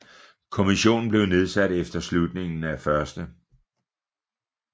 Kommissionen blev nedsat efter afslutningen af 1